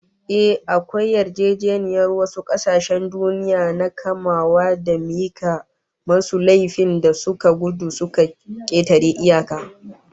Ehh, akwai yarjejeniyar wasu kasashen duniya na kamawa da mika masu laifin da suka gudu suka ketare iyaka